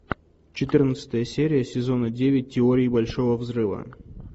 четырнадцатая серия сезона девять теория большого взрыва